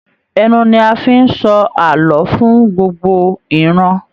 Ẹnu ní a fí n sọ ààlọ́ fún gbogbo ìran.